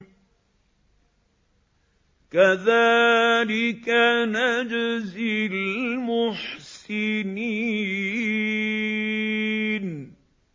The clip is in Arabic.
كَذَٰلِكَ نَجْزِي الْمُحْسِنِينَ